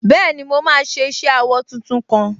Bẹ́ẹ̀ni, mo máa ṣe iṣẹ awọ tuntun kan